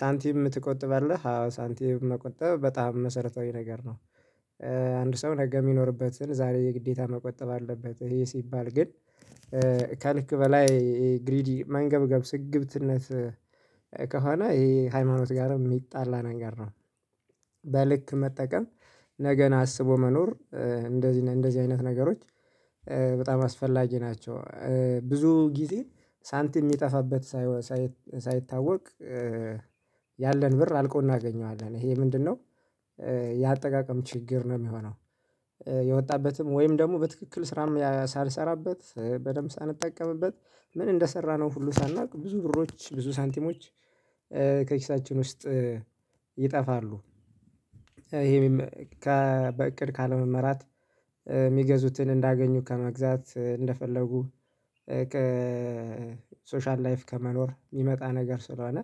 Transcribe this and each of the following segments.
ሳንቲም ትቆጥባለህ አዎ ሳንቲም መቆጠብ በጣም መሰረታዊ ነገር ነው። አንድ ሰው ነገ ሚኖርበትን ዛሬ የግዴታ መቆጠብ አለበት ይሄ ሲባል ግን ከልክ በላይ ግሪዲ መንገብገብ ስግብትነት ከሆነ ይሄ ሃይማኖት ጋርም ሚጣላ ነገር ነው። በልክ መጠቀም ነገን አስቦ መኖር እንደዚህ ለንደዚህ አይነት ነገሮች በጣም አስፈላጊ ናቸው። ብዙ ጊዜ ሳንቲም ሚጠፋበት ሳይሆ ሳይ ሳይታወቅ ያለን ብር አልቆ እናገኘዋለን ይሄ ምንድነው? የአጠቃቀም ችግር ነው ሚሆነው። የወጣበትም ወይም ደግሞ በትክክል ስራም ያ ሳልሰራበት በደንብ ሳልጠቀምበት ምን እንደሰራነው ሁሉ ሳናውቅ ብዙ ብሮች ብዙ ሳንቲሞች ከኪሳችን ውስጥ ይጠፋሉ። ይሄም ከ በእቅድ ካለመመራት የሚገዙትን እንዳገኙ ከመግዛት እንደፈለጉ ከሶሻል ላይፍ ከመኖር ሚመጣ ነገር ስለሆነ።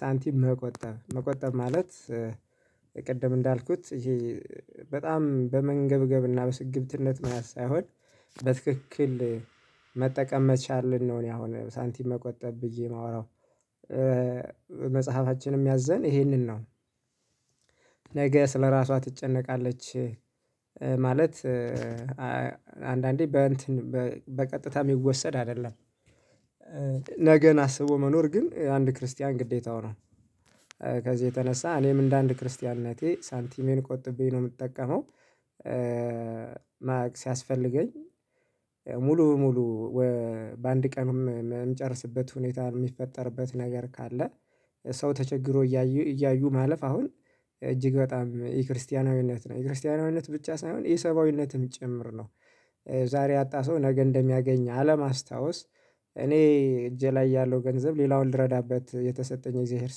ሳንቲም መቆጠብ መቆጠብ ማለት ቅድም እንዳልኩት ይሄ በጣም በመንገብገብ እና በስግብትነት መያዝ ሳይሆን በትክክል መጠቀም መቻልን ነው። እኔ አሁን ሳንቲም መቆጠብ ብዬ ማወራው መጽሐፋችንም ሚያዘን ይሄንን ነው። ስለራሷ ትጨነቃለች። ማለት አ አንዳንዴ በእንትን በ በቀጥታ ሚወሰድ አይደለም። ነገን አስቦ መኖር ግን የአንድ ክርስቲያን ግዴታው ነው። ከዚህ የተነሳ እኔም እንደ አንድ ክርስቲያንነቴ ሳንቲሜን ቆጥቤ ነው ምጠቀመው። ማረግ ሲያስፈልገኝ ሙሉ ሙሉ ወ በአንድ ቀንም ም ምጨርስበት ሁኔታ ሚፈጠርበት ነገር ካለ። ሰው ተቸግሮ እያዩ እያዩ ማለፍ አሁን እጅግ በጣም የክርስቲያናዊነት ነው የክርስቲያናዊነት ብቻ ሳይሆን የሰብአዊነትም ጭምር ነው። ዛሬ ያጣ ሰው ነገ እንደሚያገኝ አለማስታወስ እኔ እጄ ላይ ያለው ገንዘብ ሌላውን ልረዳበት የተሰጠኝ የእግዚአብሔር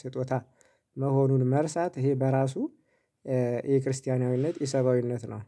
ስጦታ መሆኑን መርሳት ይሄ በራሱ ኢ ክርስቲያናዊነት ኢ ሰብአዊነት ነው